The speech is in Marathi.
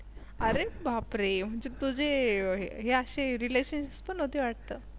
अरे बापरे म्हणजे तुझे हे आशे Relations पण होती वाटतं.